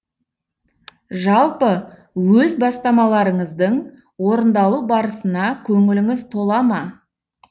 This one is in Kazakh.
жалпы өз бастамаларыңыздың орындалу барысына көңіліңіз тола ма